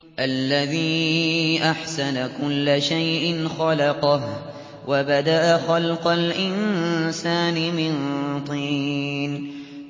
الَّذِي أَحْسَنَ كُلَّ شَيْءٍ خَلَقَهُ ۖ وَبَدَأَ خَلْقَ الْإِنسَانِ مِن طِينٍ